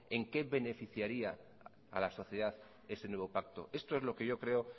en qué beneficiaría a la sociedad ese nuevo pacto estos es lo que yo creo